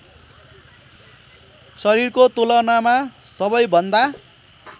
शरीरको तुलनामा सबैभन्दा